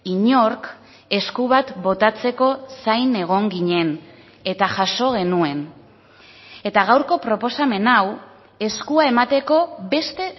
inork esku bat botatzeko zain egon ginen eta jaso genuen eta gaurko proposamen hau eskua emateko beste